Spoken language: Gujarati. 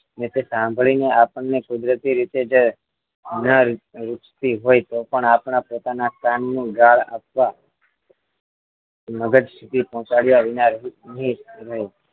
સાંભળીને આપણને કુદરતી રીતે જ ના ઇચ્છતીતો હોય પણ આપણા પોતાના સ્થાનનું ગાળ આપવા મગજથી પહોંચાડ્યા વિના